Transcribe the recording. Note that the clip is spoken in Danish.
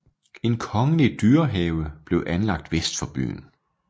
En kongelig dyrehave blev anlagt vest for byen